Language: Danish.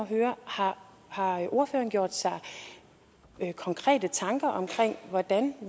høre har ordføreren gjort sig konkrete tanker om hvordan